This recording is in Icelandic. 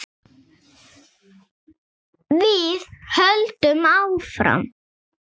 Við höldum áfram.